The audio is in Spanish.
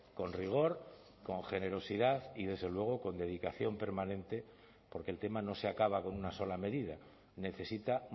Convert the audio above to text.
con rigor con generosidad y desde luego con dedicación permanente porque el tema no se acaba con una sola medida necesita